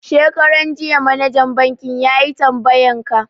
Shekaran jiya manajan banki yayi tambayan ka